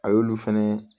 A y'olu fɛnɛ